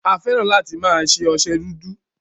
A fẹ́ràn láti máa lo ọsẹ dúdú.